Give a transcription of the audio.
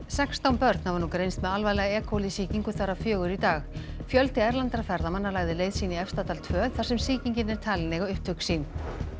sextán börn hafa nú greinst með alvarlega e coli sýkingu þar af fjögur í dag fjöldi erlendra ferðamanna lagði leið sína í Efstadal tvö þar sem sýkingin er talin eiga upptök sín